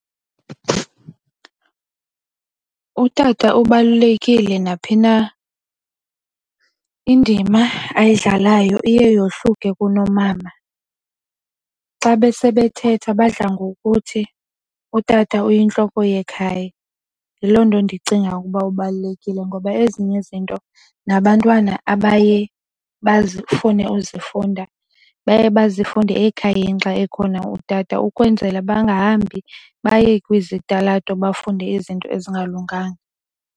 Utata ubalulekile naphi na indima ayidlalayo iye yohluke kunomama. Xa besebethetha badla ngokuthi utata uyintloko yekhaya. Yiloo nto ndicinga ukuba ubalulekile ngoba ezinye izinto nabantwana abaye bazifune uzifunda baye bazifunde ekhayeni xa ekhona utata ukwenzela bangahambi baye kwizitalato bafunde izinto ezingalunganga.